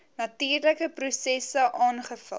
natuurlike prosesse aangevul